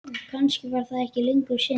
Og kannski var það ekki lengur synd.